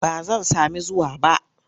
Ba zan sami zuwa ba.